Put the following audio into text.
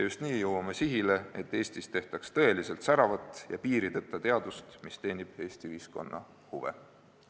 Just nii jõuame sihile, et Eestis tehtaks tõeliselt säravat ja piirideta teadust, mis teenib Eesti ühiskonna huve.